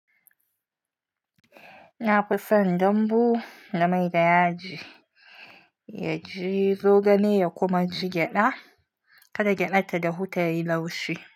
Na fi son dambu da mai da yaji. Yaji zogale ya kuma ji gyada. Kada gyada ta dahu ta yi laushi.